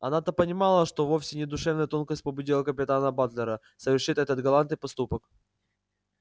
она-то понимала что вовсе не душевная тонкость побудила капитана батлера совершить этот галантный поступок